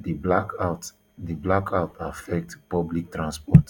di blackout di blackout affect public transport